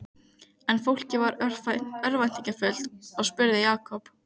En fólkið varð örvæntingarfullt og spurði Jakob